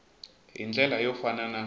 hi ndlela yo fana na